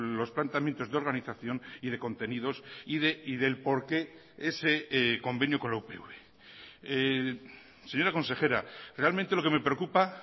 los planteamientos de organización y de contenidos y del porqué ese convenio con la upv señora consejera realmente lo que me preocupa